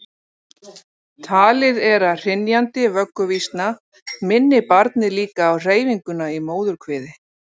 Talið er að hrynjandi vögguvísna minni barnið líka á hreyfinguna í móðurkviði.